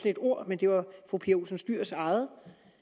et ord men det var fru pia olsen dyhrs eget